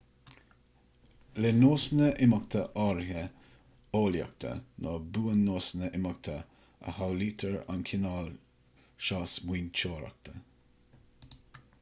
le nósanna imeachta áirithe eolaíochta nó buan-nósanna imeachta a shamhlaítear an cineál seo smaointeoireachta